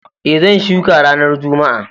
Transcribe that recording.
E, zan shuka ranar Juma'a.